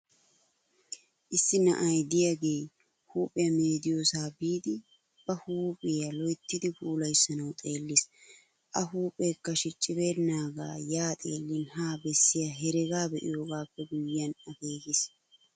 Issi na"ay de'iyaage huuphiya meediyoosa biidi ba huuphiya loyttidi puulayissanawu xeellis. A huuphekka shicibbenaaga ya xeelliin ha bessiya heregaa be'iyogappe guyiyyan akeekiis.